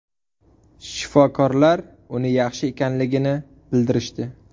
Shifokorlar uni yaxshi ekanligini bildirishdi.